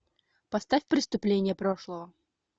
поставь преступления прошлого